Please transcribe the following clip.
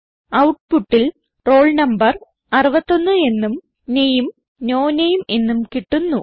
ഔട്ട്പുട്ടിൽ roll number 61 എന്നും name no name എന്നും കിട്ടുന്നു